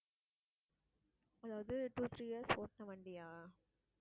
அதாவது, two three years ஓட்டுன வண்டியா?